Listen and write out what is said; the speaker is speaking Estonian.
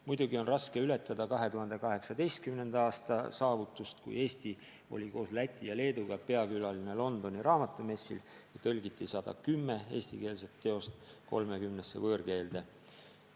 Muidugi on raske ületada 2018. aasta saavutust, kui Eesti oli koos Läti ja Leeduga peakülaline Londoni raamatumessil ja 110 eestikeelset teost tõlgiti 30 võõrkeelde.